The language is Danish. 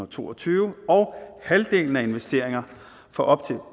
to og tyve og halvdelen af investeringer for op til